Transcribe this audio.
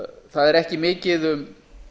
það er ekki mikið um